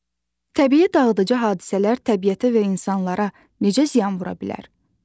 Təbii dağıdıcı hadisələr təbiətə və insanlara necə ziyan vura bilər?